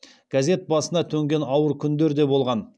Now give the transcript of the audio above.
газет басына төнген ауыр күндер де болған